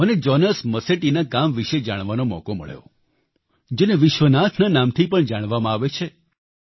મનેJonas Masetti ના કામ વિશે જાણવાનો મોકો મળ્યો જેને વિશ્વનાથના નામથી પણ જાણવામાં આવે છે